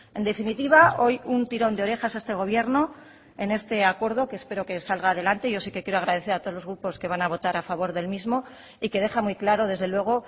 en definitiva hoy un tirón de orejas a este gobierno en este acuerdo que espero que salga adelante yo sí que quiero agradecer a todos los grupos que van a votar a favor del mismo y que deja muy claro desde luego